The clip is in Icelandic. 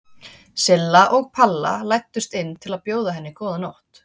Silla og Palla læddust inn til að bjóða henni góða nótt.